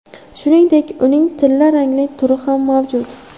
Shuningdek, uning tilla rangli turi ham mavjud.